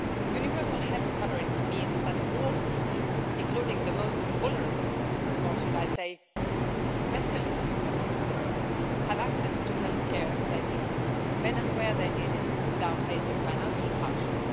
Universal health coverage means that all people, including the most vulnerable or should I say, especially the most vulnerable have access to the health care they need, when and where they need it, without facing financial hardship.